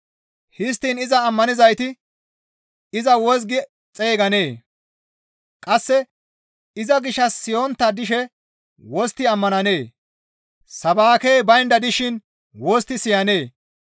Histtiin iza ammanonttayti iza wozgi xeyganee? Qasse iza gishshas siyontta dishe wostti ammananee? Sabaakey baynda dishin wostti siyanee?